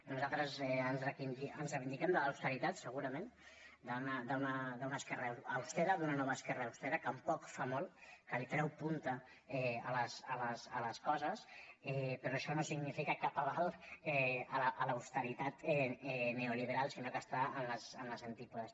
nosaltres ens reivindiquem de l’austeritat segurament d’una esquerra austera d’una nova esquerra austera que amb poc fa molt que treu punta a les coses però això no significa cap aval a l’austeritat neoliberal sinó que està a les antípodes